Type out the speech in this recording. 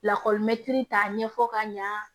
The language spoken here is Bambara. Lakɔlimɛtiri t'a ɲɛfɔ ka ɲa